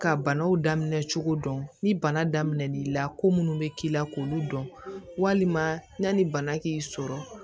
Ka banaw daminɛ cogo dɔn ni bana daminɛ n'i la ko munnu bɛ k'i la k'olu dɔn walima yanni bana k'i sɔrɔ